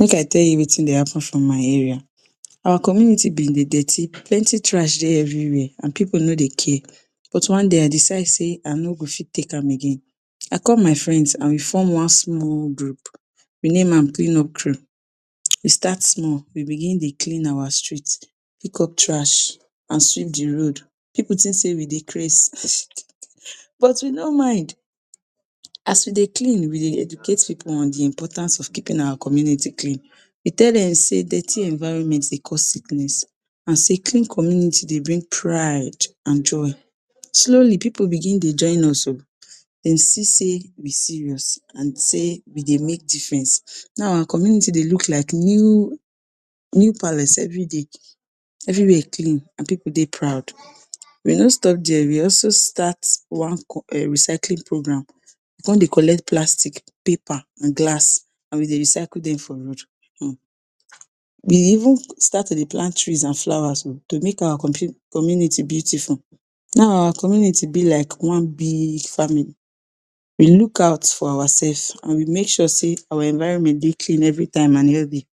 Make I tell u Wetin Dey happen for my area, our community bin Dey dirty, plenty trash Dey everywhere and pipu no dey care but one day I decide sey I no go fit take am again, I call my friends and we form one small group we name am clean up we start small we begin Dey clean our street pick up trash and sweep de road, pipu think Dey we Dey craze but we no mind, as we Dey clean we Dey educate pipu on de importance of keeping our community clean, we tell dem sey dirty environment dey cause sickness and sey clean community Dey bring pride and joy, slowly pipu begin Dey join us oh, dem see sey we serious and Dey we Dey make difference, now our community don dey look like new, new palace everyday, everywhere clean and pipu Dey proud, we no stop there we also start one recycling program con Dey collect plastic, paper and glass and we Dey recycle dem for um we even start to dey plant trees and flowers oh to make our community beautiful, now our community be like one big family, we look out for ourselves and we make sure sey our environment dey clean every time and healthy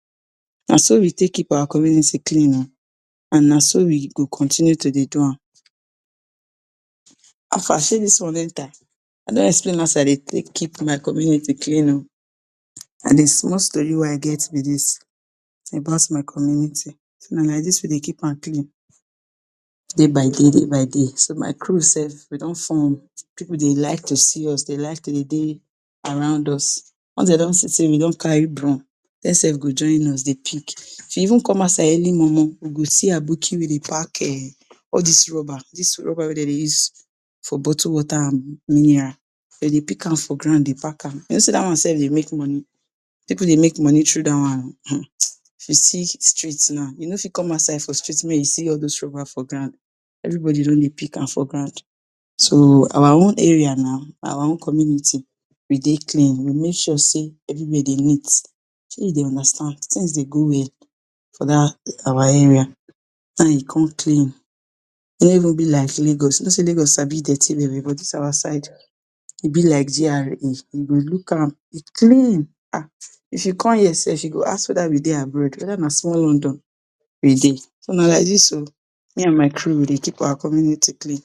naso we take keep our community clean oh and naso we go continue to Dey do am, how far Shey dis one enter, I don explain how I Dey take keep my community clean oh, na de small story wey I get b dis about my community so na like dis we Dey keep am clean day by day, day by day, so my crew sef we don form, pipu dey like to see us dey like to dey dey around us. Once dem don see sey we don carry broom dem sef go join us de pick, if you even come outside early momo, u go see aboki wey dey pack all dis rubber wey dem dey use for bottle water and mineral dem dey pick am for ground Dey pack am, u know sey dat one sef dey make money, pipu dey make money through dat one o, um if u see street now u no fit come outside for street make u see all those rubber for ground, everybody don dey pick am for ground, so our own area now, our own community we dey clean, we make sure sey everywhere dey neat, Shey u dey understand, things dey go well, for dat our area, now e con clean e no even be like Lagos u know sey Lagos sabi dirty well well, but dis our our side e b like GRA if u look am e clean um, if u come here sef I go ask wether we dey abroad, wether na small London we dey so na like dis oh, me and my crew we dey keep our community clean.